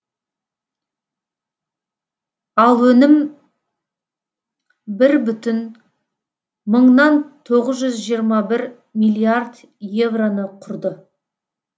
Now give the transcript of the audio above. ал өнім бір бүтін мыңнан тоғыз жүз жиырма бір миллиард евроны құрды